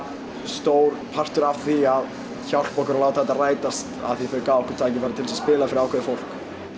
stór partur af því að hjálpa okkur að láta þetta rætast af því að þau gæfu okkur tækifæri til að spila fyrir ákveðið fólk